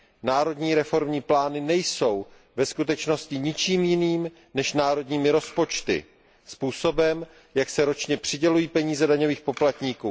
Národní reformní plány nejsou ve skutečnosti ničím jiným než národními rozpočty, způsobem, jak se ročně přidělují peníze daňových poplatníků.